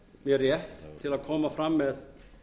mér rétt til að koma fram með